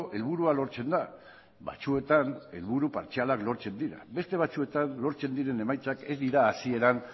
helburua lortzen da batzuetan helburu partzialak lortzen dira beste batzuetan lortzen diren emaitzak ez dira hasieran